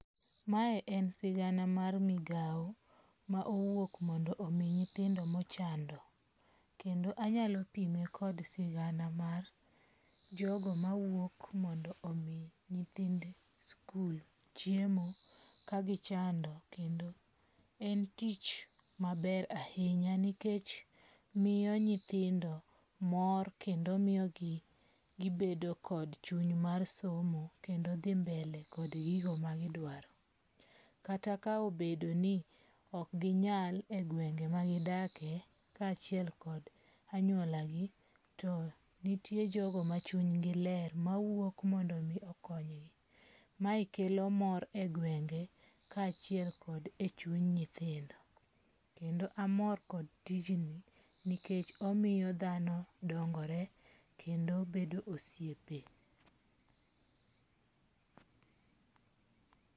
Mae en sigana mar migawo ma owuok mondo omi nyithindo mochando. Kendo anyalo pime kod sigana mar jogo mawuok mondo omi nyithindo skul chiemo ka gichando kendo en tich maber ahinya nikech miyo nyithindo mor kendo mor kendo miyogi gibedo kod chum mar somo kendo dhi mbele kod gigo ma gidwaro. Kata ka obedo ni ok ginyal e gwenge ma gidake kachiel kod anyuala gi, not nitie jogo ma achung' gi ler mawuok mondo mi okony gi. Mae kelo mor e gwenge ka achiel kod a e chunj nyithindo. Kend amor kod tijni nikech omiyo dhano dangore kendo bedo osiepe.